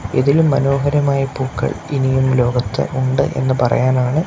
ഇതിലും മനോഹരമാ പൂക്കൾ ഇനിയും ലോകത്ത് ഉണ്ട് എന്ന് പറയാനാണ്--